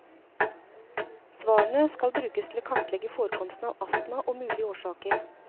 Svarene skal brukes til å kartlegge forekomsten av astma, og mulige årsaker.